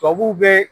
Tubabuw bɛ